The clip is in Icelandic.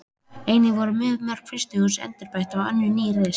Einnig voru mörg frystihús endurbætt og önnur ný reist.